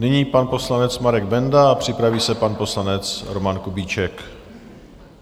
Nyní pan poslanec Marek Benda a připraví se pan poslanec Roman Kubíček.